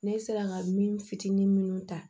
Ne sera ka min fitinin minnu ta